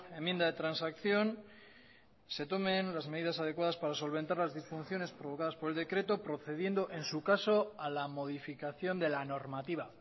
enmienda de transacción se tomen las medidas adecuadas para solventar las disfunciones provocadas por el decreto procediendo en su caso a la modificación de la normativa